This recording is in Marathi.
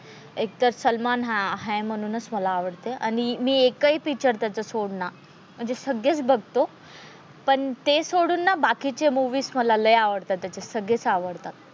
एकतर सलमान आहे म्हणूनच मला आवडते आणि मी एक हि पिक्चर त्याचा सोड ना म्हणजे सगळेच बघतो पण ते सोडून ना बाकीचे मुवीस मला लय आवडतात त्याचे सगळेच आवडतात.